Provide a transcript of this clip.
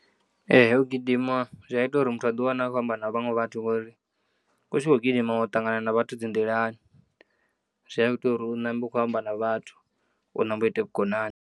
Ee, u gidima zwi ya ita uri muthu a ḓiwane a kho amba na vhaṅwe vhathu ngori, u tshi kho gidima u ya ṱangana na vhathu dzi nḓilani zwi a ita uri u nambe u khou amba na vhathu u nambe u ite vhukonani.